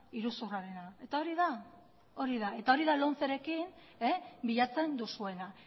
iruzurrarena eta hori da lomcerekin bilatzen duzuena